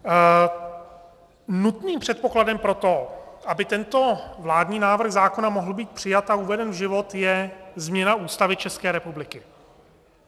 Nutným předpokladem pro to, aby tento vládní návrh zákona mohl být přijat a uveden v život, je změna Ústavy České republiky.